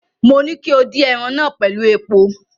Mo ní kí o dín ẹran náà pẹ̀lú epo.